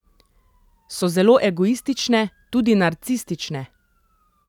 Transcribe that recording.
So zelo egoistične, tudi narcistične.